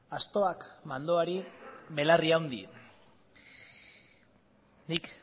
astoak mandoari belarri handi nik